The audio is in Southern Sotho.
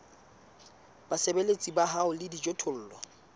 basebeletsi ba hao le dijothollo